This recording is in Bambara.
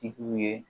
Tigiw ye